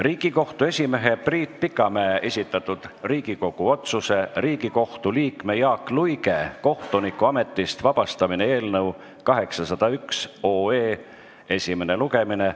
Riigikohtu esimehe Priit Pikamäe esitatud Riigikogu otsuse "Riigikohtu liikme Jaak Luige kohtunikuametist vabastamine" eelnõu 801 esimene lugemine.